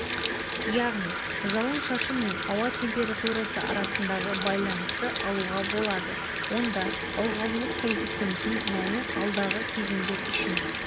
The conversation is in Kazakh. яғни жауын-шашын мен ауа температурасы арасындағы байланысты алуға болады онда ылғалдылық коэффицентінің мәні алдағы кезеңдер үшін